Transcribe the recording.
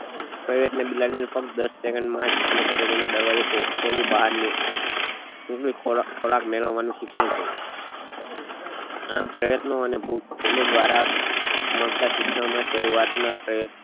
પ્રયત્ને બિલાડી ફક્ત દસ second માં જ સમસ્યા પેટી નો દરવાજો ખોલી બહાર આવી ખોરાક ખોરાક મેળવવા નું શિક્ષણ છે આમ પ્પ્રયત્નો ને ભૂલો દ્વારા જ મળતા શિક્ષણ માં સરુઆત નાં પ્રયોગ